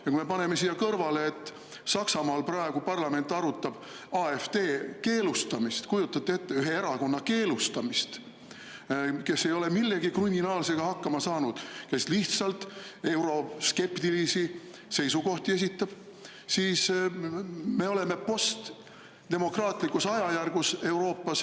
Ja kui me paneme siia kõrvale, et Saksamaal praegu parlament arutab AfD keelustamist – kujutate ette, ühe erakonna keelustamist, kes ei ole millegi kriminaalsega hakkama saanud, vaid lihtsalt esitab euroskeptilisi seisukohti –, siis me oleme Euroopas postdemokraatlikus ajajärgus.